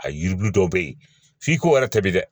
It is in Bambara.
A yiribulu dɔw be yen f'i ko yɛrɛ ta bi dɛ